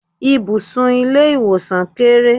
Ibùsùn ilé ìwòsàn kéré.